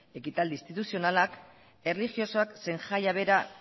ekitaldi instituzionalak erlijiosoak zein jaia bera